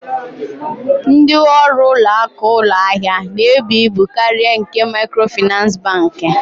Ndị ọrụ ụlọakụ ụlọahịa na-ebu ibu karịa nke Maịkrofịnansị Bankị.